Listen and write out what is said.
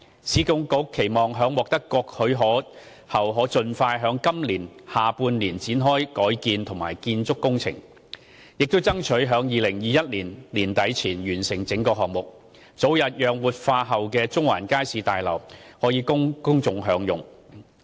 市建局期望在獲得各項許可後，盡快於今年下半年開展改建及建築工程，並爭取於2021年年底前完成整個項目，早日讓活化後的中環街市大樓供公眾享用。